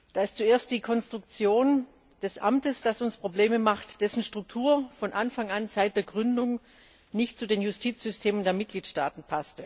Da ist zuerst die Konstruktion des Amtes, die uns Probleme macht, denn dessen Struktur passte von Anfang an seit der Gründung nicht zu den Justizsystemen der Mitgliedstaaten.